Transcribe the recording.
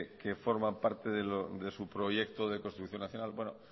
que forman parte de su proyecto de construcción nacional